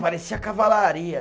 Parecia a cavalaria.